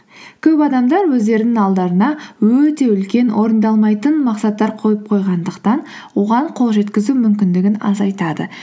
көп адамдар өздерінің алдарына өте үлкен орындалмайтын мақсаттар қойып қойғандықтан оған қол жеткізу мүмкіндігін азайтады